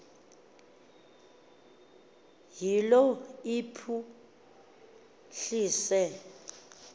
iyilo iphu hlise